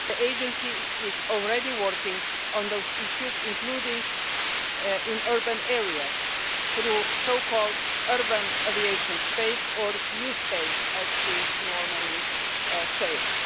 The agency is already working on those issues, including in urban areas through the so-called urban aviation space or U Space' as we normally call it.